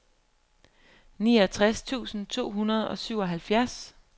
niogtres tusind to hundrede og syvoghalvfjerds